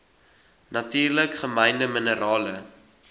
natuurlik gemynde minerale